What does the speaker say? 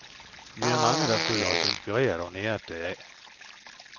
Vi er mange, der føler os inspireret og næret deraf.